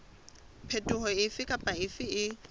phetoho efe kapa efe e